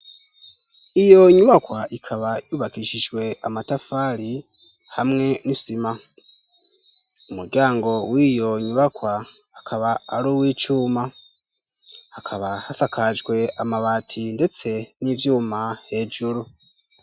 Iyo nyubakwa ikaba yubakishijwe amatafari hamwe n'isima, umuryango wiyo nyubakwa akaba ari uw'icuma, akaba asakajwe amabati ndetse n'ivyuma hejuru.